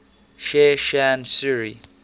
sher shah suri